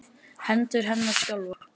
Hendur hennar skjálfa.